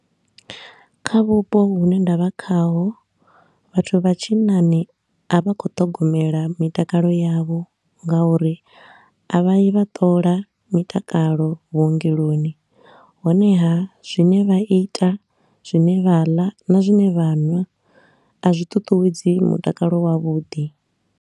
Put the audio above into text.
Kha vhupo hune nda vha khaho vhathu vha tshinnani a vha khou ṱhogomela mitakalo yavho nga uri a vha yi vha ṱola mitakalo vhuongeloni, honeha zwine vha ita, zwine vha ḽa na zwine vha nwa a zwiṱuṱuwedzi mutakalo wavhuḓi.